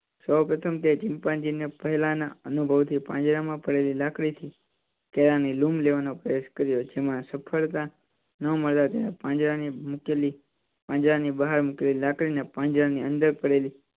સૌપ્રથમ તે ચિંપાંજી ને પેલા ના અનુભવ થી પાંજરા માં પડેલી લાકડી થી લૂમ લેવા નો પ્રયાસ કર્યો જેમાં સફળતા ન મળતા પાંજરા ની મૂકેલી પાંજરા ની બહાર મૂકેલી લાકડી ને પંજર ની અંદર પડેલી